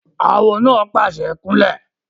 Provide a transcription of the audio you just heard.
Awo náà pàṣẹ "kún lẹ̀!"